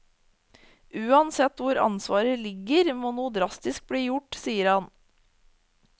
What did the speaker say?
Uansett hvor ansvaret ligger, må noe drastisk bli gjort, sier han.